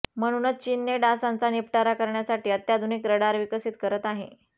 म्हणूनच चीनने डासांचा निपटारा करण्यासाठी अत्याधुनिक रडार विकसित करत आहे